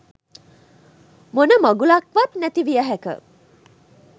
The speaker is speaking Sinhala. මොන මගුලක්වත් නැති විය හැක.